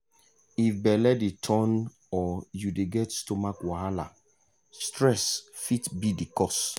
if belle dey turn or you dey get stomach wahala stress fit be the cause.